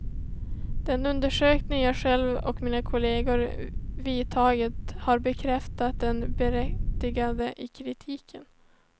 Den undersökning jag själv och mina kolleger vidtagit har bekräftat det berättigade i kritiken.